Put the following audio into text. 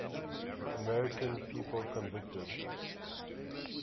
american people convicted